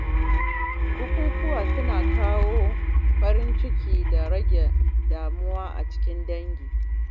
Bukukuwa suna kawo farin ciki da rage damuwa a cikin dangi.